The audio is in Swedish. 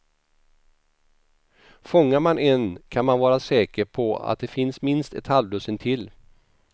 Fångar man en kan man vara säker på att det finns minst ett halvdussin till.